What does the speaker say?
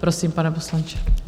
Prosím, pane poslanče.